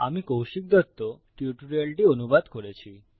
আমি কৌশিক দত্ত টিউটোরিয়ালটি অনুবাদ করেছি